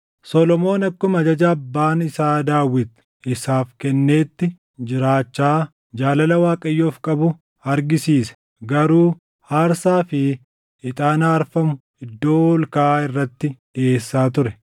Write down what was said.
Solomoon akkuma ajaja abbaan isaa Daawit isaaf kenneetti jiraachaa jaalala Waaqayyoof qabu argisiise; garuu aarsaa fi ixaana aarfamu iddoo ol kaʼaa irratti dhiʼeessaa ture.